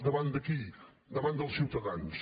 davant de qui davant dels ciutadans